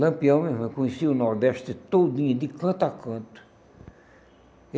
Lampião mesmo, eu conheci o Nordeste todinho, de canto a canto.